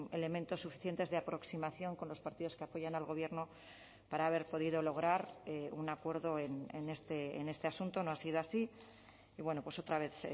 elementos suficientes de aproximación con los partidos que apoyan al gobierno para haber podido lograr un acuerdo en este asunto no ha sido así y bueno pues otra vez